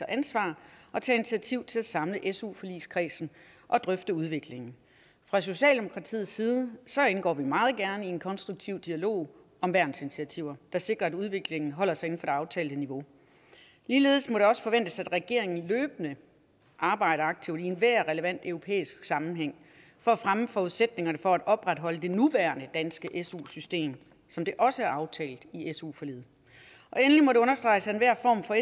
ansvar og tager initiativ til at samle su forligskredsen og drøfte udviklingen fra socialdemokratiets side indgår vi meget gerne i en konstruktiv dialog om værnsinitiativer der sikrer at udviklingen holder sig det aftalte niveau ligeledes må det også forventes at regeringen løbende arbejder aktivt i enhver relevant europæisk sammenhæng for at fremme forudsætningerne for at opretholde det nuværende danske su system som det også er aftalt i su forliget endelig må det understreges at enhver form for